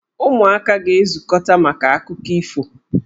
Ụmụaka ga-ezukọta maka akụkọ ifo.